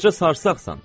Qoca sarsaqsan.